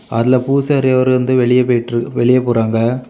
அதுல பூசாரி அவர் வந்து வெளியே போயிட்டு வெளியே போறாங்க.